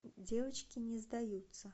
девочки не сдаются